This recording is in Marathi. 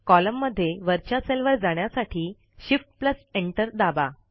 कॉलम मध्ये वरच्या सेलवर जाण्यासाठी Shift Enter दाबा